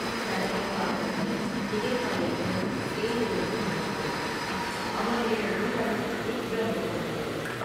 தடவி பார்த்த கை, திகைப்படைந்து, செயலிழந்து நின்றது அவனுடைய உள்ளம், திக்பிரமை கொண்டது.